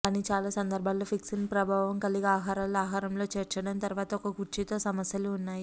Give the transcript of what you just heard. కానీ చాలా సందర్భాలలో ఫిక్సింగ్ ప్రభావం కలిగి ఆహారాలు ఆహారంలో చేర్చడం తర్వాత ఒక కుర్చీతో సమస్యలు ఉన్నాయి